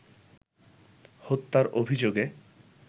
হত্যার অভিযোগে